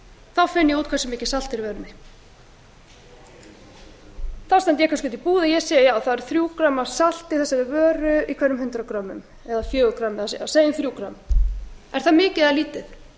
þá finn ég út hversu mikið salt er í vörunni þá fer ég kannski út í búð og ég segi það eru þrjú greinar af salti í þessari vöru í hverjum hundrað greinar segjum þrjú grein er það mikið lítið